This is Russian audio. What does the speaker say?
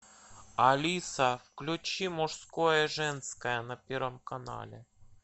алиса включи мужское женское на первом канале